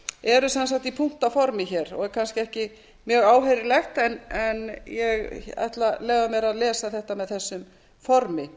eru sem sagt í punktaformi hér og er kannski ekki mjög áheyrilegt en ég ætla að lesa þetta með þessu formi